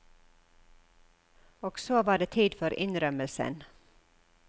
Og så var det tid for innrømmelsen.